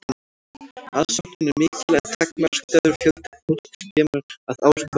aðsóknin er mikil en takmarkaður fjöldi fólks kemst að ár hvert